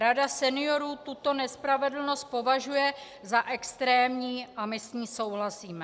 Rada seniorů tuto nespravedlnost považuje za extrémní a my s tím souhlasíme.